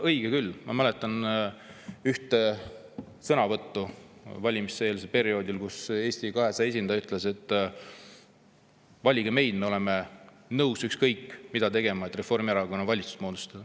Õige küll, ma mäletan ühte sõnavõttu valimiseelsel perioodil, kui Eesti 200 esindaja ütles, et valige meid, me oleme nõus ükskõik mida tegema, et Reformierakonnaga valitsust moodustada.